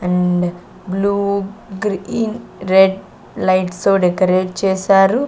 And blue green red lights తో decorate చేశారు.